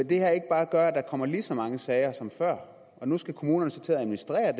det her ikke bare gøre at der kommer lige så mange sager som før og nu skal kommunerne så til at administrere